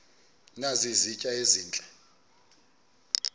nazi izitya ezihle